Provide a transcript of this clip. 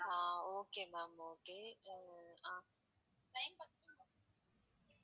ah okay ma'am okay uh ah